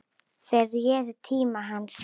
Þeir réðu tíma hans.